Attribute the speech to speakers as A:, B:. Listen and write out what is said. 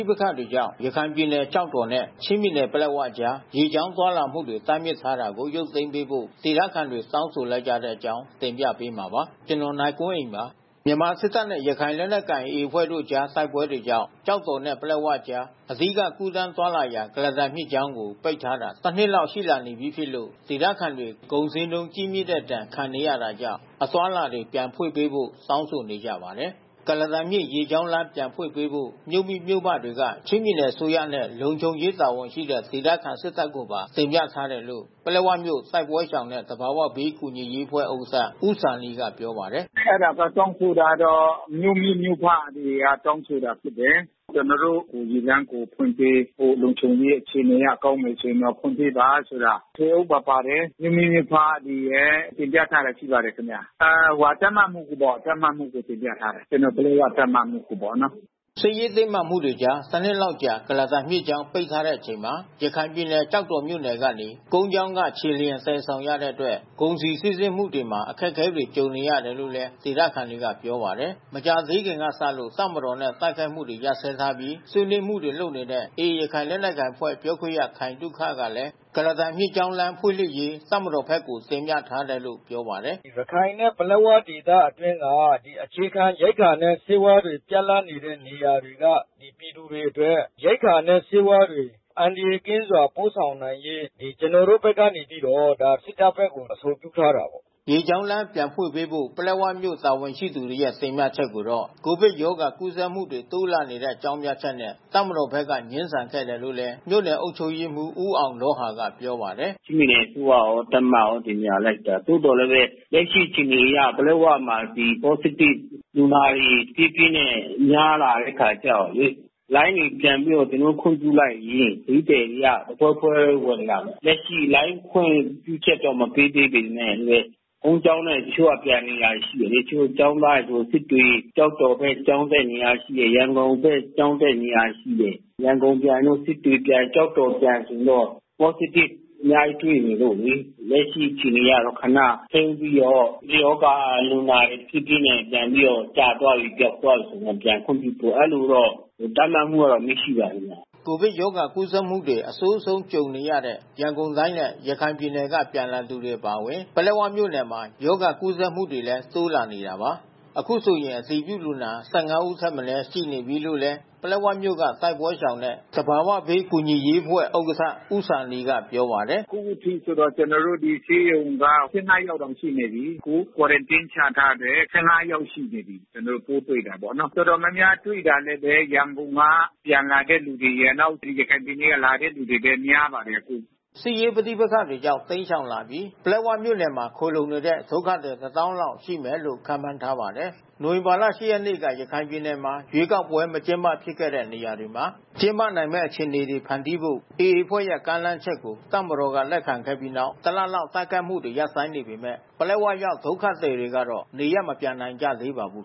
A: ိပက္ခတွေကြောင့် ရခိုင်ပြည်နယ်ကျောက်တော်နဲ့ ချင်းပြည်နယ် ပလက်ဝကြား ရေကြောင်းသွားလာမှုတွေ တားမြစ်ထားတာကို ရုပ်သိမ်းပေးဖို့ ဒေသခံတွေ တောင်းဆိုလိုက်ကြတဲ့အကြောင်း တင်ပြပေးမှာပါ။ ဗွီအိုအေမြန်မာပိုင်း သတင်းထောက် ကိုနိုင်ကွန်းအိန်က သတင်းပေးပို့ထားပါတယ်။ မြန်မာစစ်တပ်နဲ့ ရခိုင်လက်နက်ကိုင် AA အဖွဲ့တို့ကြား တိုက်ပွဲတွေကြောင့် ကျောက်တော်နဲ့ ပလက်ဝကြား အဓိက ကူးသန်းသွားလာရာ ကုလားတန်မြစ်ကြောင်းကို ပိတ်ထားတာ တစ်နှစ်လောက် ရှိလာနေပြီဖြစ်လို့ ဒေသခံတွေ ကုန်ဈေးနှုန်းကြီးမြင့်တဲ့ ဒဏ်ခံနေရတာကြောင့် အသွားအလာတွေ ပြန်ဖွင့်ပေးဖို့ တောင်းဆိုနေကြပါတယ်။ ကုလားတန်မြစ် ရေကြောင်းလမ်း ပြန်ဖွင့်ပေးဖို့ မြို့မိ၊ မြို့ဖတွေက ချင်းပြည်နယ်အစိုးရနဲ့ လုံခြုံရေးတာဝန်ရှိတဲ့ ဒေသခံ စစ်တပ်ကိုပါ တင်ပြထားတယ်လို့ ပလက်ဝမြို့ တိုက်ပွဲရှောင်နဲ့ သဘာဝဘေးကူညီရေးအဖွဲ့ ဥက္ကဋ္ဌ ဦးဇာနည်က ပြောပါတယ်။ “အဲဒ
B: ါတွေတောင်းဆိုတာကတော့ မြို့မိ၊ မြို့ဖတွေ တောင်းဆိုတာဖြစ်တယ်။ ကျနော်တို့ ရေလမ်းကို ဖွင့်ပေးဖို့ လုံခြုံရေးအခြေအနေအရ ကောင်းမယ်ဆိုရင်တော့ ဖွင့်ပေးပါဆိုတာ... ထွေအုပ်ပါ ပါတယ်။ မြို့မိမြို့ဖတွေရယ် တင်ပြထားတာရှိပါတယ်ခင်ဗျ။ တပ်မမှူးကိုပေါ့၊ ပလက်ဝ တပ်မမှူးကိုတင်ပြထားတယ်။” စစ်ရေးတင်းမာမှုတွေကြား တ
A: နှစ်လောက်ကြာ ကုလားတန်မြစ်ကြောင်း ပိတ်ထားရတဲ့အချိန်မှာ ရခိုင်ပြည်နယ် ကျောက်တော်မြို့နယ်ကနေ ကုန်းကြောင်းက ခြေလျင် သယ်ဆောင်ရတဲ့အတွက် ကုန်စည်စီးဆင်းမှုတွေမှာ အခက်အခဲတွေ ကြုံနေရတာလို့လည်း ဒေသခံတွေက ပြောပါတယ်။ မကြာသေးခင်ကစလို့ တပ်မတော်နဲ့ တိုက်ခိုက်မှုတွေ ရပ်စဲထားပြီး ဆွေးနွေးမှုတွေ လုပ်နေတဲ့ AA ရခိုင်လက်နက်ကိုင်အဖွဲ့ ပြောခွင့်ရ ခိုင်သုခကလည်း ကုလားတန်မြစ်ကြောင်း လမ်းဖွင့်လှစ်ရေး တပ်မတော်ဘက်ကို တင်ပြထားတယ်လို့ ပြောပါတယ်။ “ရခိုင်နဲ့ ပလက်ဝဒေသအတွင်းက အခြေခံရိက္ခာနဲ့ ဆေးဝါးတွေ ပြတ်လပ်နေတဲ့နေရာတွေက ပြည်သူတွေအတွက် ရိက္ခာနဲ့ ဆေးဝါးတွေ အန္တရာယ်ကင်းစွာ ပို့ဆောင်နိုင်ရေး ကျနော်တို့ဘက်က စစ်တပ်ဘက်ကို အဆိုပြုထားတယ်။” ရေလမ်းကြောင်း ပြန်ဖွင့်ပေးဖို့ ပလက်ဝမြို့တာဝန်ရှိသူတွေရဲ့ တင်ပြချက်ကိုတော့ ကိုဗစ်ကပ်ရောဂါကူးစက်မှုတွေ တိုးလာနေတဲ့ အကြောင်းပြချက်နဲ့ တပ်မတော်ဘက်က ငြင်းဆန်ခဲ့တယ်လို့လည်း မြို့နယ်အုပ်ချုပ်ရေးမှူး ဦးအောင်လောဟာက ပြောပါတယ်။ “
B: ချင်းပြည်နယ်အစိုးရရော၊ တပ်မရော တင်ပြလိုက်တာ သို့သော်လည်းပဲ လက်ရှိအခြေအနေအရ ပလက်ဝမှာ ဒီ positive လူနာတွေ တဖြည်းဖြည်းနဲ့ များလာတဲ့အခါကျတော့လေ လိုင်းတွေပြန်ပြီးတော့ ကျနော်တို့ ခွင့်ပြုလိုက်ရင် ခရီးသည်တွေက တဖွဲဖွဲဝင်လာမယ်။ လက်ရှိ လိုင်းခွင့်ပြုချက် မပေးသေးပေမဲ့ ကုန်းကြောင်းနဲ့ တချို့ကပြန်နေတာရှိတယ်လေ။ တချို့ကျောင်းသားတွေ၊ စစ်တွေ၊ ကျောက်တော်ဘက် ကျောင်းတက်နေတာ ရှိတယ်။ ရန်ကုန်ဘက် ကျောင်းတက်နေရတာ ရှိတယ်။ ရန်ကုန်ပြန်၊ စစ်တွေပြန်၊ ကျောက်တော်ပြန် ဆိုရင်တော့ positive အများကြီးတွေ့နေလို့လေ။ လက်ရှိအခြေအနေအရတော့ ခဏထိန်းပြီးတော့ ရောဂါလူနာ တဖြည်းဖြည်းနဲ့ ပြန်ပြီးတော့ ကျသွားပြီ၊ ပျောက်သွားပြီဆိုရင် ပြန်ခွင့်ပြုမယ်။ အဲဒီလိုတော့ တပ်မမှူးက အမိန့်ရှိပါတယ် ခင်ဗျ။”
A: ကိုဗစ်ရောဂါကူးစက်မှုတွေ အဆိုးဆုံးကြုံနေရတဲ့ ရန်ကုန်တိုင်းနဲ့ ရခိုင်ပြည်နယ်က ပြန်လာသူတွေ အပါအဝင် ပလက်ဝမြို့နယ်မှာ ရောဂါကူးစက်မှုတွေလည်း တိုးလာနေတာပါ။ အခုဆိုရင် အတည်ပြုလူနာ ၁၅ ယောက်ထက်မနည်း ရှိနေပြီလို့လည်း ပလက်ဝမြို့က တိုက်ပွဲရှောင်နဲ့ သဘာဝဘေးကူညီရေးအဖွဲ့ဥက္ကဋ္ဌ ဦးဇာနည်ကပြောပါတယ်။ “အခုထိ ကျန
B: ော်တို့ ဒီဆေးရုံက ၁၅ ယောက်တောင်ရှိနေပြီ။ အခု Quarantine ချထားတယ်။ ၁၅ ယောက်ရှိနေပြီ။ ကျနော်တို့ ပိုးတွေ့တာပေါ့နော်။ တော်တော်များများတွေ့တာလည်းပဲ ရန်ကုန်က ပြန်လာတဲ့သူတွေရယ်၊ နောက် ရခိုင်ပြည်နယ်က လာတဲ့လူတွေလည်း များပါတယ်။”
A: စစ်ရေးပဋိပက္ခတွေကြောင့် တိမ်းရှောင်လာပြီး ပလက်ဝမြို့နယ်မှာ ခိုလှုံနေတဲ့ ဒုက္ခသည် ၁၀,၀၀၀ လောက် ရှိမယ်လို့ ခန့်မှန်းထားပါတယ်။ နိုဝင်ဘာလ ၈ ရက်နေ့က ရခိုင်ပြည်နယ်မှာ ရွေးကောက်ပွဲ မကျင်းပဖြစ်ခဲ့တဲ့ နေရာတွေမှာ ကျင်းပနိုင်မယ့် အခြေအနေတွေ ဖန်တီးဖို့ AA အဖွဲ့ရဲ့ ကမ်းလှမ်းချက်ကို တပ်မတော်က လက်ခံခဲ့ပြီးနောက် ၁ လလောက် တိုက်ခိုက်မှုတွေ ရပ်ဆိုင်းနေပေမဲ့ ပလက်ဝရောက် ဒုက္ခသည်တွေကတော့ နေရပ်မပြန်နိုင်ကြသေးပါဘူး